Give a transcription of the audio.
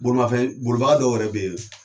Bolimafɛn bolibaga dɔw yɛrɛ bɛ yen